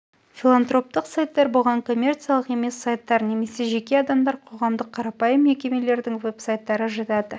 филантроптық сайттар бұған коммерциялық емес сайттар немесе жеке адамдар қоғамдық қарапайым мекемелердің веб-сайттары жатады